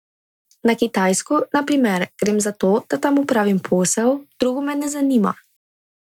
Na Kitajsko, na primer, grem zato, da tam opravim posel, drugo me ne zanima.